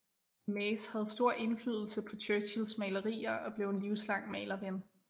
Maze havde stor indflydelse på Churchills malerier og blev en livslang malerven